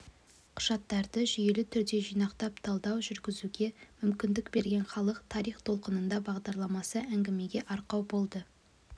құжаттарды жүйелі түрде жинақтап талдау жүргізуге мүмкіндік берген халық тарих толқынында бағдарламасы әңгімеге арқау болды